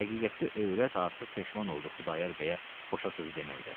Həqiqətdə övrət artıq peşman oldu Xudayar bəyə boşa sözü deməkdə.